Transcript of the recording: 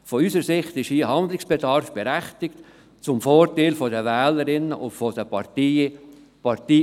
Aus unserer Sicht besteht hier ein berechtigter Handlungsbedarf zum Vorteil der Wählerinnen und Wähler, unabhängig von der Partei.